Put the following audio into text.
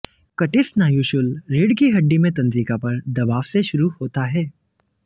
कटिस्नायुशूल रीढ़ की हड्डी में तंत्रिका पर दबाव से शुरू होता है